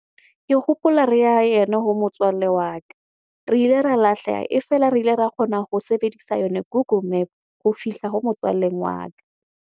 Ke hopola re ya ene ho motswalle wa ka. Re ile ra lahleha, e fela re ile ra kgona ho sebedisa yona Google map ho fihla ho motswalleng wa ka.